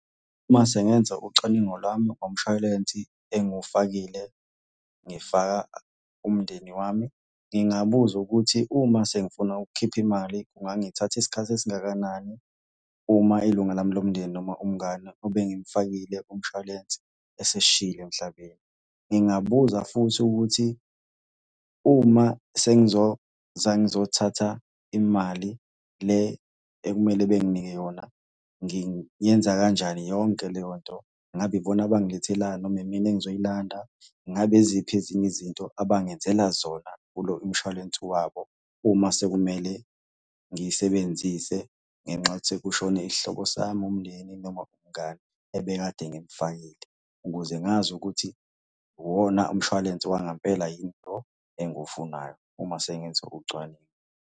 Uma sengenza ucwaningo lwami ngomshwalensi engufakile, ngifaka umndeni wami. Ngingabuza ukuthi uma sengifuna ukukhipha imali kungangithatha isikhathi esingakanani uma ilunga lami lomndeni noma umngani ebengimufakile kumshwalensi esesishiyile emhlabeni. Ngingabuza futhi ukuthi uma sengizoza ngizothatha imali le ekumele benginike yona, ngiyenza kanjani yonke leyo nto. Ngabe ibona abangilethelayo noma imina engizoyilanda? Ngabe yiziphi ezinye izinto abangenzela zona kulo imshwalense wabo uma sekumele ngiyisebenzise ngenxa yokuthi sekushone isihlobo sami, umndeni, noma umngani ebekade ngimufakile ukuze ngazi ukuthi uwona umshwalense wangampela yini lo engiwufunayo uma sengenze ucwaningo.